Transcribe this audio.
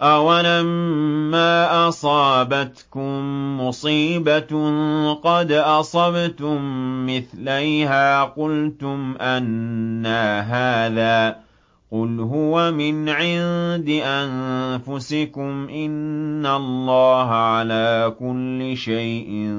أَوَلَمَّا أَصَابَتْكُم مُّصِيبَةٌ قَدْ أَصَبْتُم مِّثْلَيْهَا قُلْتُمْ أَنَّىٰ هَٰذَا ۖ قُلْ هُوَ مِنْ عِندِ أَنفُسِكُمْ ۗ إِنَّ اللَّهَ عَلَىٰ كُلِّ شَيْءٍ